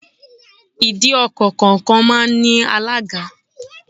Ìdí ọkọ̀ kọ̀ọ̀kan máa ń ní alága.